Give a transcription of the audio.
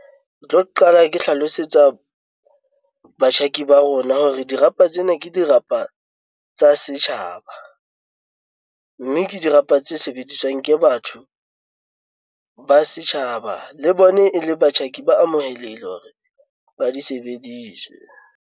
Ke tlo qala ke hlalosetsa batjhaki ba rona hore dirapa tsena ke dirapa tsa setjhaba, mme ke dirapa tse sebediswang ke batho ba setjhaba le bone e le batjhaki ba amohelehile hore ba di sebediswa jwang.